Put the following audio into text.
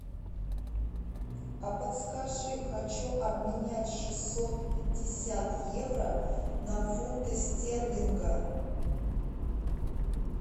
а подскажи хочу обменять шестьсот пятьдесят евро на фунты стерлинга